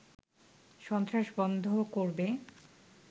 সন্ত্রাস বন্ধ করবে